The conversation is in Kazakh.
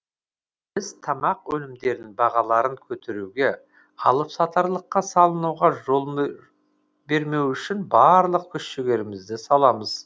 біз тамақ өнімдерін бағаларын көтеруге алыпсатарлыққа салынуға жол бермеу үшін барлық күш жігерімізді саламыз